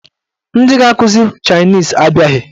Ndị ga-akụzi chaịnis abịaghị.